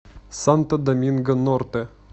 санто доминго норте